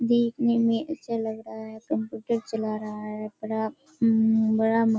देखने में अच्छा लग रहा है। कंप्यूटर चला रहा है बड़ा अम्म बड़ा --